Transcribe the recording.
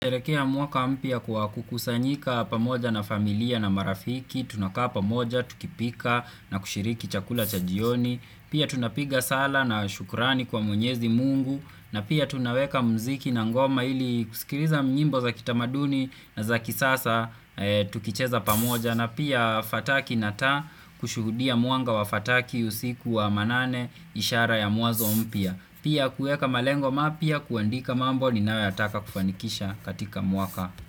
Tuelekea mwaka mpya kwa kukusanyika pamoja na familia na marafiki, tunakaa pamoja, tukipika na kushiriki chakula chajioni, pia tunapiga sala na shukurani kwa mwenyezi mungu, na pia tunaweka mziki na ngoma ili kusikiliza nyimbo za kitamaduni na za kisasa tukicheza pamoja, na pia fataki nataa kushuhudia mwanga wa fataki usiku wa manane ishara ya mwanzo mpya. Pia kueka malengo mapya kuandika mambo ninayotaka kufanikisha katika mwaka.